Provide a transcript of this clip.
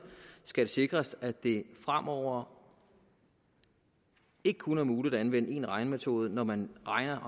skal det sikres at det fremover ikke kun er muligt at anvende én regnemetode når man regner